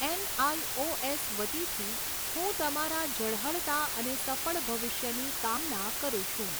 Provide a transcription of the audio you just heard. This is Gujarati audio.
એનઆઈઓએસ વતીથી હું તમારા ઝળહળતા અને સફળ ભવિષ્યની કામના કરું છું.